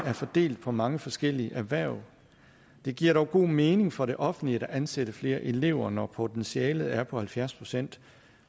er fordelt på mange forskellige erhverv det giver dog god mening for det offentlige at ansætte flere elever når potentialet er på halvfjerds procent